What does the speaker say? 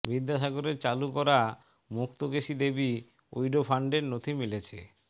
বিদ্যাসাগরের চালু করা মুক্তাকেশী দেবী উইডো ফান্ডের নথি মিলেছে